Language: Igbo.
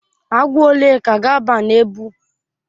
Agwọ ole ka ga-aba na ebu?